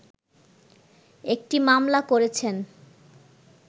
একটি মামলা করেছেন